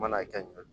Mana kɛ ɲɔ